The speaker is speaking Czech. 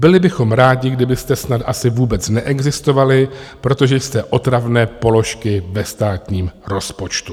Byli bychom rádi, kdybyste snad asi vůbec neexistovali, protože jste otravné položky ve státním rozpočtu.